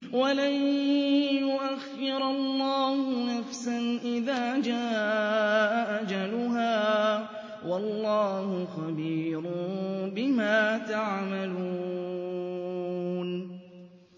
وَلَن يُؤَخِّرَ اللَّهُ نَفْسًا إِذَا جَاءَ أَجَلُهَا ۚ وَاللَّهُ خَبِيرٌ بِمَا تَعْمَلُونَ